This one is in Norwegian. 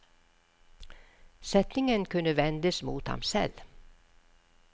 Setningen kunne ve ndes mot ham selv.